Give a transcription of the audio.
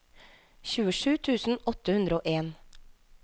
tjuesju tusen åtte hundre og en